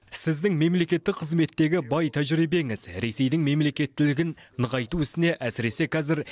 сіздің мемлекеттік қызметтегі бай тәжірибеңіз ресейдің мемлекеттілігін нығайту ісіне әсіресе қазір